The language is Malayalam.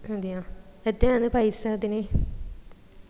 അതേയ എത്രയാ അത് പൈസ അതിന്